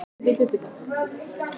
Tónninn er falskur.